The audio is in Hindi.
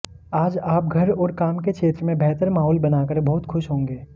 आज आप घर और काम के क्षेत्र में बेहतर माहौल बनाकर बहुत खुश होंगे